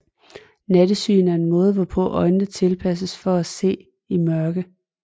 Nattesyn er måden hvorpå øjnene tilpasses til at se i mørke